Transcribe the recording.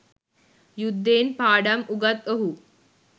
යුද්ධයෙන් පාඩම් උගත් ඔහු